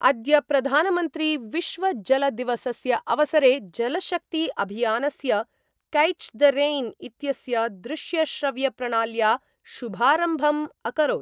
अद्य प्रधानमन्त्री विश्वजलदिवसस्य अवसरे जलशक्ति अभियानस्य ' कैच द रेन इत्यस्य दृश्यश्रव्यप्रणाल्या शुभारम्भम् अकरोत्।